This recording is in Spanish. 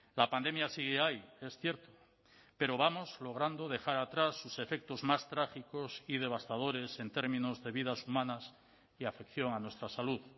la pandemia sigue ahí es cierto pero vamos logrando dejar atrás sus efectos más trágicos y devastadores en términos de vidas humanas y afección a nuestra salud